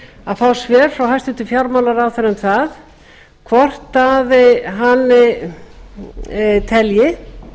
að fá svör frá frá hæstvirtum fjármálaráðherra um það hvort hann telji